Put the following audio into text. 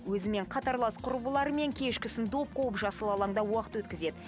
өзімен қатарлас құрбыларымен кешкісін доп қуып жасыл алаңда уақыт өткізеді